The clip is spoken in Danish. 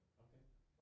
Okay